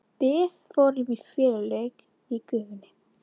Við fórum í feluleik í gufunni.